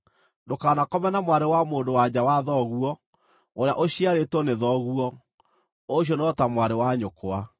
“ ‘Ndũkanakome na mwarĩ wa mũndũ-wa-nja wa thoguo, ũrĩa ũciarĩtwo nĩ thoguo; ũcio no ta mwarĩ wa nyũkwa.